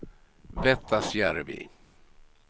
Vettasjärvi